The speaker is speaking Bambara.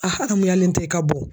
A haramuyalentɛ i ka bon.